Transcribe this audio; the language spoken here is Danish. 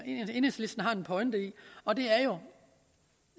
enhedslisten har en pointe i og det er jo